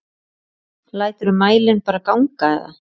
Læturðu mælinn bara ganga eða?